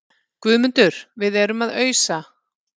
GUÐMUNDUR: Við erum að ausa.